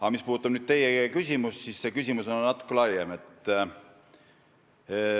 Aga mis puudutab teie küsimust, siis see teema on natuke laiem.